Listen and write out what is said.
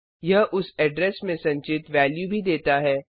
यह उस एड्रेस में संचित वेल्यू भी देता है